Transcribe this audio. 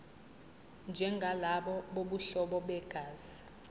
njengalabo bobuhlobo begazi